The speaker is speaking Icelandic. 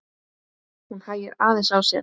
Hún hægir aðeins á sér.